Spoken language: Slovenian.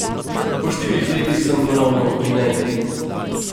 Po štirih letih sem ponovno v Gvineji.